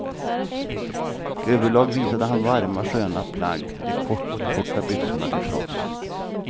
Överlag visade han varma sköna plagg, de kortkorta byxorna till trots.